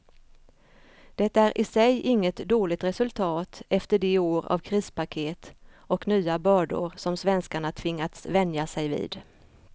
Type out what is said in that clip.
Det är i sig inget dåligt resultat efter de år av krispaket och nya bördor som svenskarna tvingats vänja sig vid.